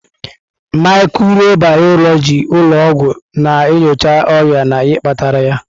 Mikrobiyọlojị ụlọ ọgwụ na-enyocha ọrịa na ihe kpatara ya.